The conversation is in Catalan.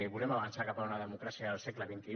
volem avançar cap a una democràcia del segle xxi